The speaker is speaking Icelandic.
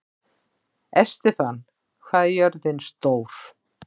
Estefan, hvað er jörðin stór?